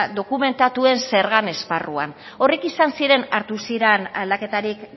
dokumentatuen zergan esparruan horrek izan ziren hartu ziran aldaketarik